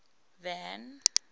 van